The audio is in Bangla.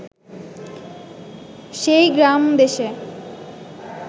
সেই গ্রামদেশে